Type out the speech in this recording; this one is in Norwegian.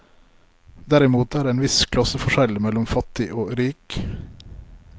Derimot er det en viss klasseforskjell mellom fattig og rik.